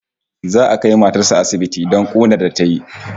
Za'a kai matar sa asibiti don kunar da tayi